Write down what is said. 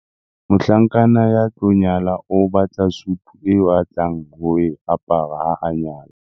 Mohlankana ya tlo nyala o batla sutu eo a tlang ho e apara ha a nyala.